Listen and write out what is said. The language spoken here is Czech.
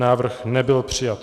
Návrh nebyl přijat.